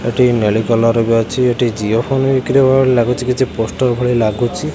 ଏଠି ନେଲି କଲର୍ ଭି ଏଠି ଜିଓ ଫୋନ୍ ବିକ୍ରି ହେବାର ଲାଗୁଚି କିଛି ପୋଷ୍ଟର ଭଳି ଲାଗୁଚି।